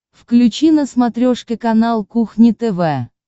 включи на смотрешке канал кухня тв